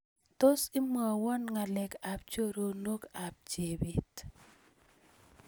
Tos imwowon ngalek ab choronok ab chebet